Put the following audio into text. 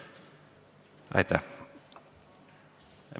Aitäh!